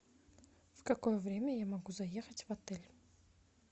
в какое время я могу заехать в отель